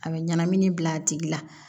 A bɛ ɲɛnamini bil'a tigi la